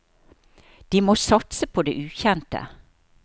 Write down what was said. De må satse på det ukjente.